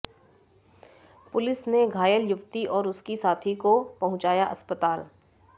police ने घायल युवती और उसकी साथी को पहुंचाया अस्पताल